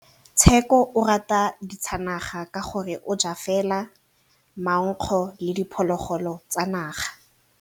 Tshekô o rata ditsanaga ka gore o ja fela maungo le diphologolo tsa naga.